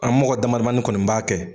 An mɔgɔ damadamani kɔni b'a kɛ.